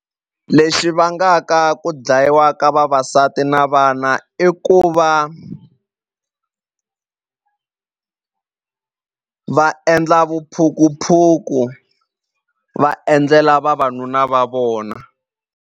Lexi vangaka ku dlayiwa ka vavasati na vana i ku va va endla vuphukuphuku va endlela vavanuna va vona.